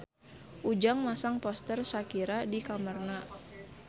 Ujang masang poster Shakira di kamarna